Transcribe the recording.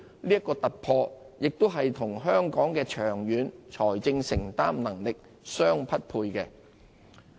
這個突破亦與香港的長遠財政承擔能力相匹配。